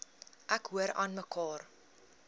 ek hoor aanmekaar